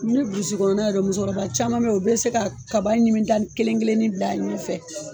Ni ye kɔnɔna lajɛ musokɔrɔba caman bɛ ye u bɛ se ka kaba ɲimita n kelen-kelenni da ɲɛ fɛ.